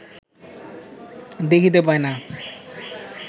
দেখিতে পায় না